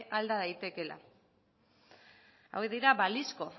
alda daitekeela hauek dira balizko